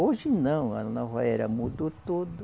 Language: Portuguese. Hoje não, a Nova Era mudou tudo.